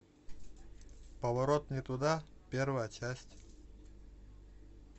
поворот не туда первая часть